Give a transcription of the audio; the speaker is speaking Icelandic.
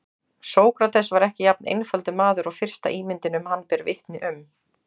Sókrates var ekki jafn einfaldur maður og fyrsta ímyndin um hann ber vitni um.